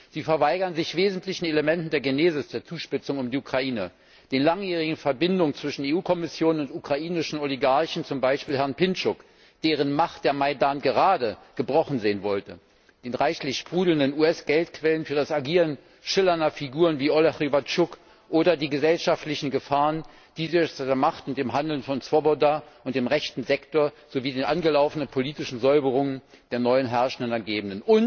Sie verweigert sich wesentlichen Elementen der Genesis der Zuspitzung um die Ukraine die langjährigen Verbindungen zwischen EU Kommission und ukrainischen Oligarchen, zum Beispiel Herrn Pintschuk, deren Macht der Majdan gerade gebrochen sehen wollte, die reichlich sprudelnden US Geldquellen für das Agieren schillernder Figuren wie Olek Rybatschuk oder die gesellschaftlichen Gefahren, die sich durch die Macht und das Handeln von Swoboda und dem Rechten Sektor sowie den angelaufenen politischen Säuberungen der neuen Herrschenden ergeben.